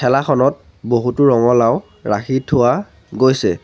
ঠেলাখনত বহুতো ৰঙলাও ৰাখি থোৱা গৈছে।